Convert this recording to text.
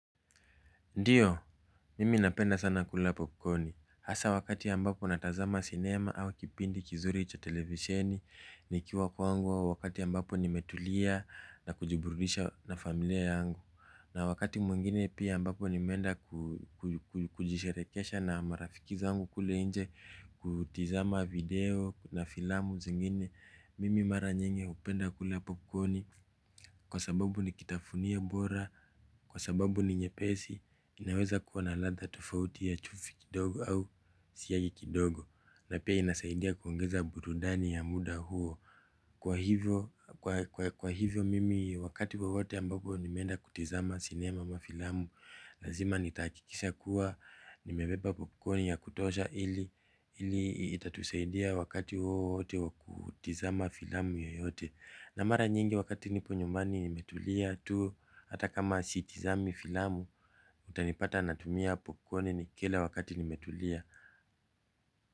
Ndiyo, mimi napenda sana kula popkoni. Hasaa wakati ambapo natazama sinema au kipindi kizuri cha televisheni. Nikiwa kwangu au wakati ambapo nimetulia na kujiburudisha na familia yangu. Na wakati mwengine pia ambapo nimeenda kujisherekesha na marafiki zangu kule nje kutizama video na filamu zingine. Mimi mara nyingi hupenda kula popkoni. Kwa sababu nikitafunio bora. Kwa sababu ni nyepesi. Inaweza kuwa na ladha tofauti ya chumvi kidogo au siagi kidogo. Na pia inasaidia kuongeza burudani ya muda huo. Kwa hivyo mimi wakati wowote ambapo nimeenda kutizama sinema ama filamu lazima nitahakikisha kuwa nimebeba popcorn ya kutosha ili itatusaidia wakati wowote wa kutizama filamu yoyote. Na mara nyingi wakati nipo nyumani nimetulia tu. Hata kama sitizami filamu utanipata natumia popkoni nikila wakati nimetulia.